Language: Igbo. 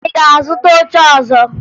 Ị ga-azụta oche ọzọ?